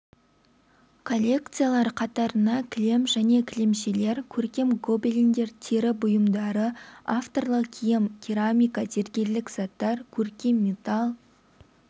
коллекциялар қатарына кілем және кілемшелер көркем гобелендер тері бұйымдары авторлық киім керамика зергерлік заттар көркем металл